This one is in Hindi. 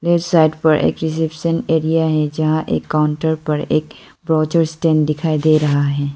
इस साइट पर एक्सेप्शन एरिया है जहां एक काउंटर पर एक प्रोजे स्टैंड दिखाई दे रहा है।